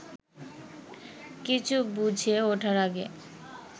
কিছু বুঝে ওঠার আগে